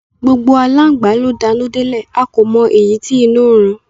Gbogbo alángbà ló danú delẹ̀, a kò mọ èyí tí inú ń run